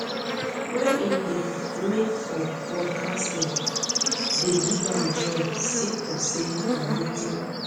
wey im dey make for podcasting dey give am joy sake of say na wetin